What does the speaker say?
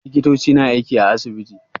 Likitoci na aiki a asibiti.